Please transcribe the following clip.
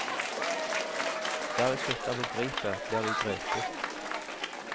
Der vi slutter å begripe, blir vi grepet.